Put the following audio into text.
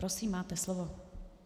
Prosím máte slovo.